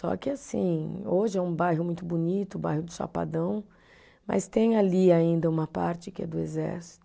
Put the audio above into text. Só que assim, hoje é um bairro muito bonito, o bairro de Chapadão, mas tem ali ainda uma parte que é do exército.